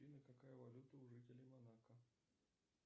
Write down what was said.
афина какая валюта у жителей монако